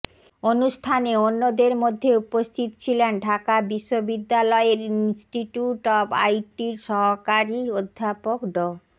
অনুষ্ঠানে অন্যদরে মধ্যে উপস্থিত ছিলেন ঢাকা বিশ্ববিদ্যালয়ের ইন্সটিটিউট অব আইটির সহকারী অধ্যাপক ড